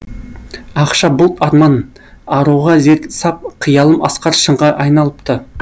ақша бұлт арман аруға зер сап қиялым асқар шыңға айналыпты